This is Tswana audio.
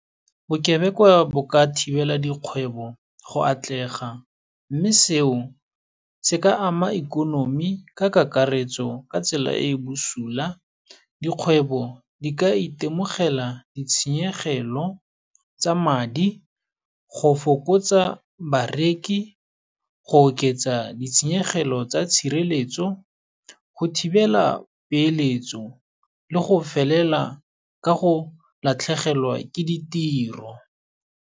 Bokebekwa bo ka thibela dikgwebo go atlega, mme seo, se ka ama ikonomi ka kakaretso ka tsela e busula. Dikgwebo di ka itemogela ditshenyegelo tsa madi, go fokotsa bareki, go oketsa ditshenyegelo tsa tshireletso, go thibela peeletso le go felela ka go latlhegelwa ke ditiro.